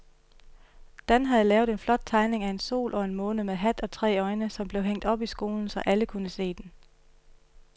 Dan havde lavet en flot tegning af en sol og en måne med hat og tre øjne, som blev hængt op i skolen, så alle kunne se den.